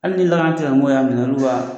Hali ni lakana tigilamɔgɔw y'a minɛ olu b'a